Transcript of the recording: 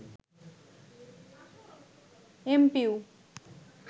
MPO